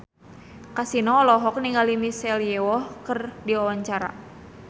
Kasino olohok ningali Michelle Yeoh keur diwawancara